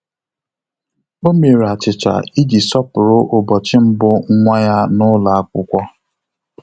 Ọ́ mèrè achịcha iji sọ́pụ́rụ́ ụ́bọ̀chị̀ mbụ nwa ya n’ụ́lọ́ ákwụ́kwọ́.